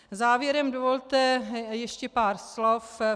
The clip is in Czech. Závěrem dovolte ještě pár slov.